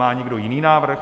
Má někdo jiný návrh?